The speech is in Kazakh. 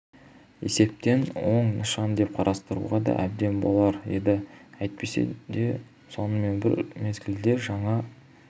есептен оң нышан деп қарастыруға да әбден болар еді әйтсе де сонымен бір мезгілде жаңа